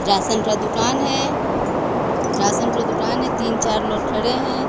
Ration का दुकान है राशन का दुकान है तीन चार लोग खड़े हैं।